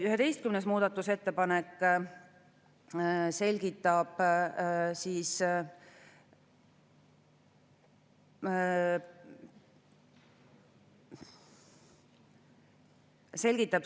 Kui varasemalt tekkis küsimusi, kas termini "teine vanem" kasutamine termini "isa" kasutuselt kadumise, siis selleks, et anda Riigikogu liikmetele siin kindel veendumus, on ka seda sätet õigusselguse huvides täiendatud.